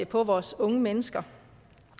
på vores unge mennesker